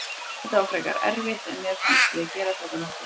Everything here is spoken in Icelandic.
Þetta var frekar erfitt en mér fannst við gera þetta nokkuð vel.